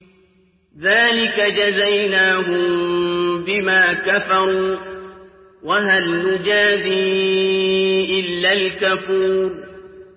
ذَٰلِكَ جَزَيْنَاهُم بِمَا كَفَرُوا ۖ وَهَلْ نُجَازِي إِلَّا الْكَفُورَ